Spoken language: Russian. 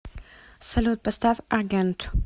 салют поставь аргент